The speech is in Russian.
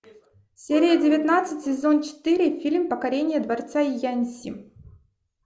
серия девятнадцать сезон четыре фильм покорение дворца яньси